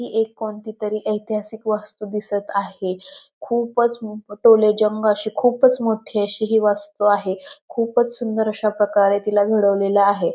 ही एक कोणती तरी ऐतिहासिक वास्तु दिसत आहे खूपच टोलेजन अशी खुपच मोठी अशी वस्तु आहे खूपच सुंदर अश्या प्रकारे तिला घडवलेल आहे.